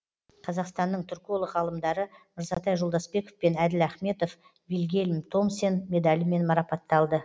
қазақстанның түрколог ғалымдары мырзатай жолдасбеков пен әділ ахметов вильгельм томсен медалімен марапатталды